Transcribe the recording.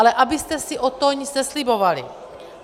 Ale abyste si od toho nic neslibovali.